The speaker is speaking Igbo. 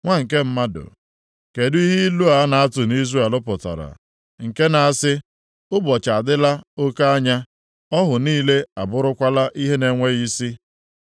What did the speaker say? “Nwa nke mmadụ, kedụ ihe ilu a na-atụ nʼIzrel pụtara, nke na-asị ‘Ụbọchị adịla oke anya, ọhụ niile abụrụkwala ihe na-enweghị isi?’